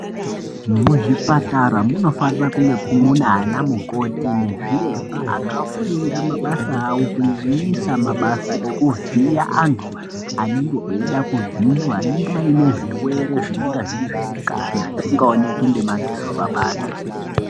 Muzvipatara munofanira kunge munaana mukoti nezviremba akafunda mabasa avo kunyanyisa mabasa ekuvhiya antu anenge eida kuvhiiwa anenge aine zvirwere zvinenga zviri zvemukati zvisingaoneki ngemadziso pabanze.